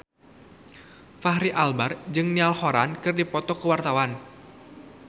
Fachri Albar jeung Niall Horran keur dipoto ku wartawan